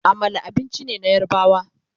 Amala abinci ne na yarbawa